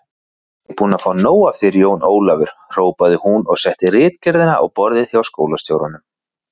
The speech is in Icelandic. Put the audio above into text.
Ég er búin að fá nóg af þér, Jón Ólafur hrópaði hún og setti ritgerðina á borðið hjá skólastjóranum.